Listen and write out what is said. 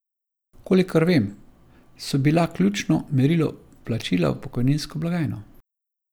Kolikor vem, so bila ključno merilo vplačila v pokojninsko blagajno.